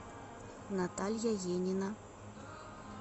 наталья енина